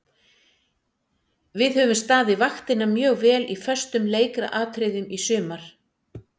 Við höfum staðið vaktina mjög vel í föstum leikatriðum í sumar.